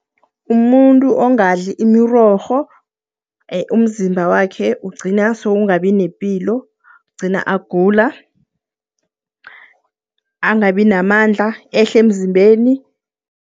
Umuntu ongadli imirorho, umzimba wakhe ugcina sowungabi nepilo, gcina agula, angabi namandla, ehle emzimbeni.